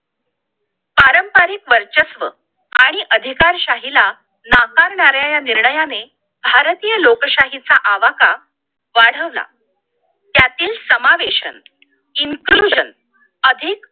पारंपरिक वर्चस्व आणि अधिकारशाहीला नाकारणाऱ्या या निर्णयाने भारतीय लोकशाहीचा आवाका वाढवला त्यातील समावेशन inclusion अधिक